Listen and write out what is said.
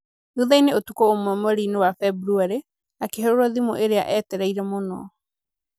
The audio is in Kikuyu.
Thutha-inĩ ũtukũ ũmwe mweri-inĩ wa Februarĩ, akĩhũrĩrwo thimũ ĩrĩa eetereire mũno.